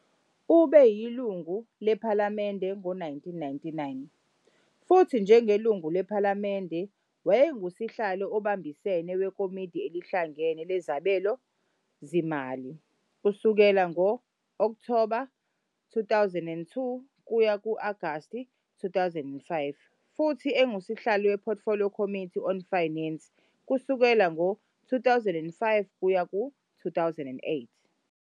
Ube yilungu lePhalamende ngo-1999, futhi njengelungu lePhalamende wayengusihlalo obambisene weKomidi Elihlangene Lezabelomali kusukela ngo-Okthoba 2002 kuya ku-Agasti 2005 futhi engusihlalo we-Portfolio Committee on Finance kusuka ngo-2005 kuya ku-2008.